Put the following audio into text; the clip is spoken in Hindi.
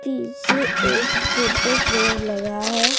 पीछे एक फोटो फ्रेम लगा है।